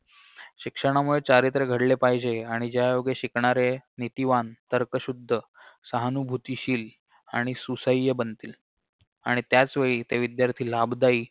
शिक्षणामुळे चारित्र्य घडले पाहिजे आणि ज्यायोगे शिकणारे नीतिवान तर्कशुद्ध सहानुभूतीशील आणि सुसह्य बनतील आणि त्याचवेळी ते विध्यार्थी लाभदायी